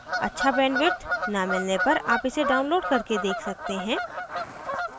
अच्छा bandwidth न मिलने पर आप इसे download करके देख सकते हैं